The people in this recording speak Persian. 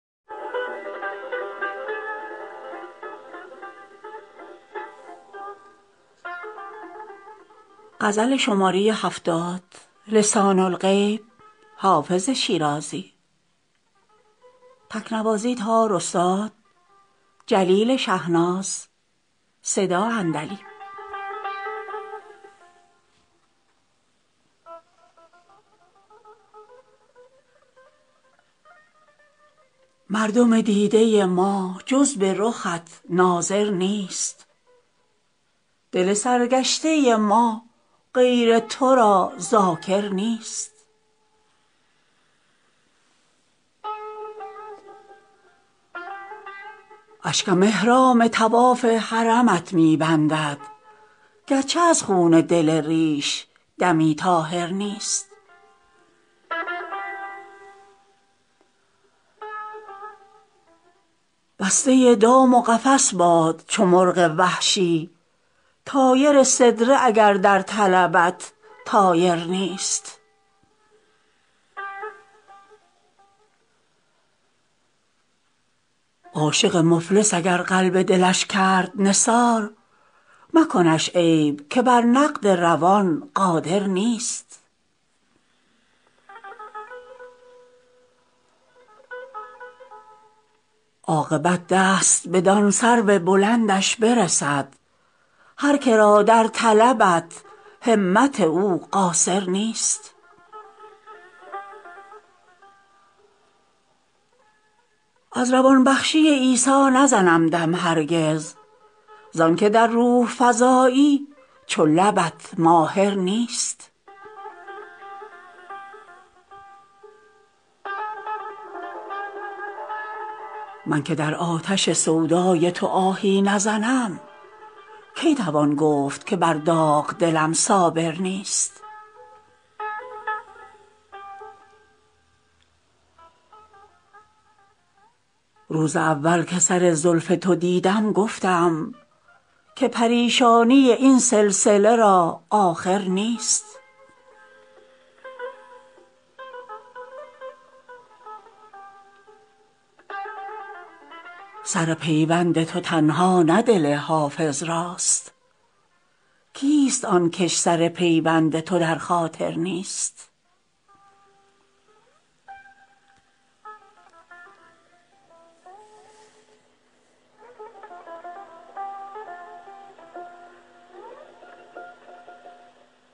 مردم دیده ما جز به رخت ناظر نیست دل سرگشته ما غیر تو را ذاکر نیست اشکم احرام طواف حرمت می بندد گرچه از خون دل ریش دمی طاهر نیست بسته دام و قفس باد چو مرغ وحشی طایر سدره اگر در طلبت طایر نیست عاشق مفلس اگر قلب دلش کرد نثار مکنش عیب که بر نقد روان قادر نیست عاقبت دست بدان سرو بلندش برسد هر که را در طلبت همت او قاصر نیست از روان بخشی عیسی نزنم دم هرگز زان که در روح فزایی چو لبت ماهر نیست من که در آتش سودای تو آهی نزنم کی توان گفت که بر داغ دلم صابر نیست روز اول که سر زلف تو دیدم گفتم که پریشانی این سلسله را آخر نیست سر پیوند تو تنها نه دل حافظ راست کیست آن کش سر پیوند تو در خاطر نیست